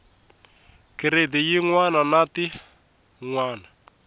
giredi yin wana na tin